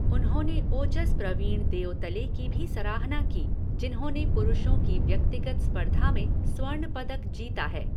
उन्होंने ओजस प्रवीण देओतले की भी सराहना की, जिन्होंने पुरुषों की व्यक्तिगत स्पर्धा में स्वर्ण पदक जीता है।